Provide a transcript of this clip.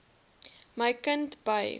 my kind by